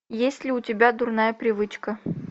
есть ли у тебя дурная привычка